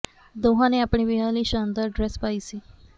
ਦੋਹਾਂ ਨੇ ਆਪਣੇ ਵਿਆਹ ਲਈ ਸ਼ਾਨਦਾਰ ਡਰੈੱਸ ਪਾਈ ਸੀ